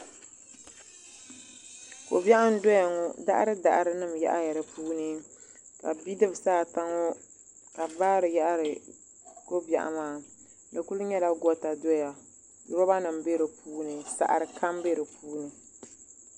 Kobiɛɣu n doya ŋɔ daɣari daɣari nima yaɣaya dipuuni ka bidibsi ata ŋɔ ka bɛ baari yaɣari kobiɛɣu maa di kuli nyɛla goota doya loba nima be dipuuni saɣari kam be dipuuni.